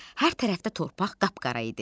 Hər tərəfdə torpaq qapqara idi.